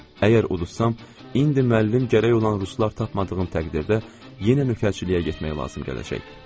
Əgər uduzsam, indi müəllim gərək olan ruslar tapmadığım təqdirdə yenə mühacirliyə getməli olacaq.